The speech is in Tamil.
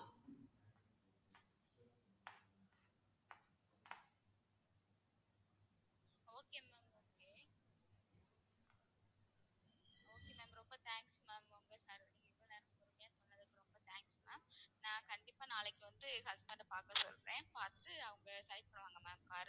நான் கண்டிப்பா நாளைக்கு வந்து என் husband அ பாக்க சொல்றேன் பாத்துட்டு, அவங்க select பண்ணுவாங்க ma'am